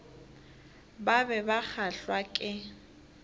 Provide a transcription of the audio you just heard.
ba be ba kgahlwa ke